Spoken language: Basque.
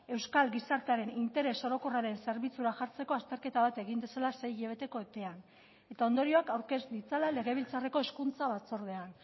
euskal gizartearen interes orokorraren zerbitzura jartzeko azterketa bat egin dezala sei hilabeteko epean eta ondorioak aurkez ditzala legebiltzarreko hezkuntza batzordean